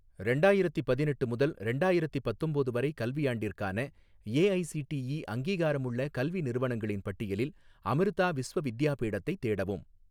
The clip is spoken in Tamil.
ரெண்டாயிரத்தி பதினெட்டு முதல் ரெண்டாயிரத்தி பத்தொம்போது வரை கல்வியாண்டிற்கான ஏஐசிடிஇ அங்கீகாரமுள்ள கல்வி நிறுவனங்களின் பட்டியலில் அமிர்தா விஸ்வ வித்யாபீடத்தை தேடவும்